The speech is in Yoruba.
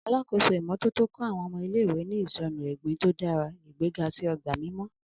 Alakoso imototo kọ àwọn ọmọ ile-iwe ni isọnu egbin to dara, igbega si ogba mimọ.